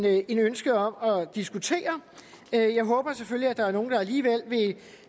ikke et ønske om at diskutere jeg håber selvfølgelig at der er nogle der alligevel vil